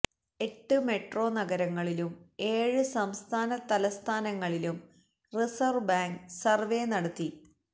എട്ട് മെട്രോ നഗരങ്ങളിലും ഏഴ് സംസ്ഥാന തലസ്ഥാനങ്ങളിലും റിസര്വ്വ് ബാങ്ക് സര്വേ നടത്തി